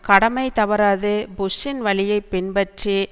கடமை தவறாது புஷ்ஷின் வழியை பின்பற்றி